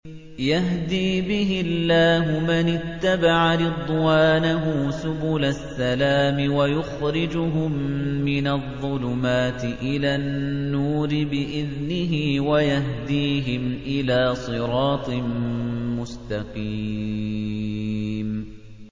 يَهْدِي بِهِ اللَّهُ مَنِ اتَّبَعَ رِضْوَانَهُ سُبُلَ السَّلَامِ وَيُخْرِجُهُم مِّنَ الظُّلُمَاتِ إِلَى النُّورِ بِإِذْنِهِ وَيَهْدِيهِمْ إِلَىٰ صِرَاطٍ مُّسْتَقِيمٍ